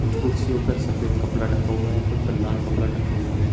कुछ कुर्सियों पर सफेद कपड़ा ढका हुआ है कुछ पे लाल कपड़ा ढका हुआ है।